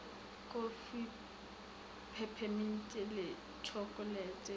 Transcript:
kofi pepeminti le tšhokolete di